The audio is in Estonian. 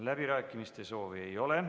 Läbirääkimiste soovi ei ole.